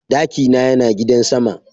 Daki na Yana gidan sama.